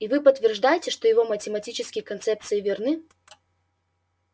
и вы подтверждаете что его математические концепции верны